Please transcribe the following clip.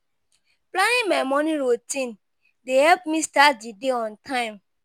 Planning my morning routine dey help me start the day on time.